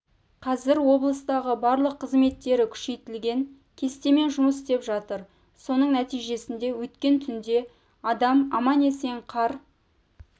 қазір облыстағы барлық қызметтері күшейтілген кестемен жұмыс ітеп жатыр соның нәтижесінде өткен түнде адам аман-есен қар